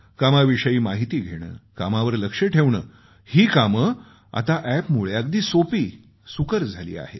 कामाविषयी माहिती घेणं कामावर लक्ष ठेवणं ही कामं आता अॅपमुळं अगदी सोपी सुकर झाली आहेत